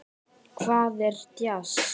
Hvað er djass?